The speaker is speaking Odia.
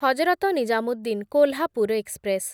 ହଜରତ ନିଜାମୁଦ୍ଦିନ କୋଲ୍ହାପୁର ଏକ୍ସପ୍ରେସ୍‌